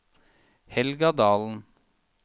Helga Dahlen